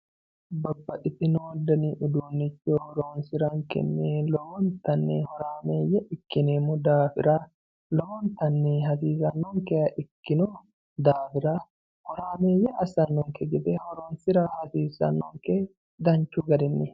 babbaxitino dani uduunnicho horonsirankenni lowontanni horaameeyye ikkineemmo daafira lowontanni hagiirsiisannonkeha ikkino daafira horaameeyye assate ikkinokki gede horonsira hasiissanonke danchu garinni.